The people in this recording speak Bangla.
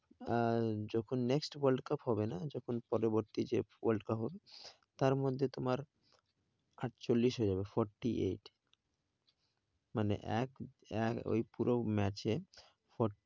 আহ যখন next world cup হবে না যখন পরবর্তী যে world cup হবে, তার মধ্যে তোমার আটচল্লিশ হয়ে যাবে। forty-eight মানে ওই পুরো match এ